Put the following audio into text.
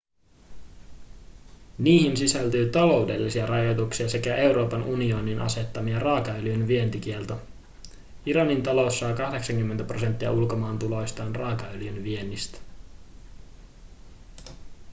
niihin sisältyy taloudellisia rajoituksia sekä euroopan unionin asettama raakaöljyn vientikielto iranin talous saa 80 prosenttia ulkomaantuloistaan raakaöljyn viennistä